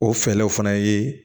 O fɛlɛw fana ye